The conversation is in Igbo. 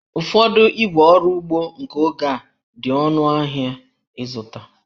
Ụfọdụ ígwè ọrụ ugbo nke oge a dị ọnụ ahịa ịzụta